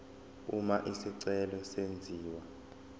uma isicelo senziwa